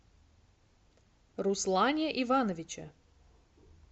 руслане ивановиче